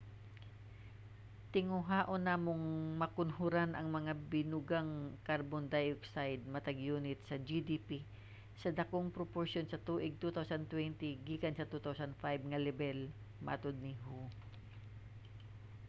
"tinguhaon namong makunhoran ang mga binugang carbon dioxide matag yunit sa gdp sa dakong proporsiyon sa tuig 2020 gikan sa 2005 nga lebel, matud ni hu